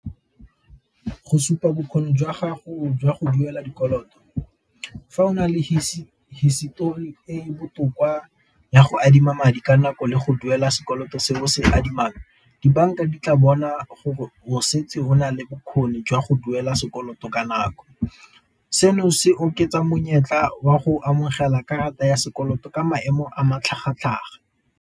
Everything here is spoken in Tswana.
Go supa bokgoni jwa gago jwa go duela dikoloto fa o na le hisitori e botoka ya go adima madi ka nako le go duela sekoloto se bo se adimang, dibanka di tla bona gore o setse o nale bokgoni jwa go duela sekoloto ka nako. Seno se oketsa monyetla wa go amogela karata ya sekoloto ka maemo a matlhagatlhaga.